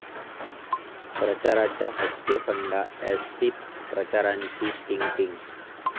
प्रचाराचा 'हटके' फंडा, एसटीत प्रचाराची 'टींग टींग'!